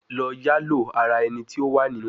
Lọ yalo ara ẹni ti o wa ninu